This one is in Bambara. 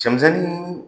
Cɛmisɛnnin